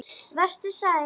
Vertu sæl.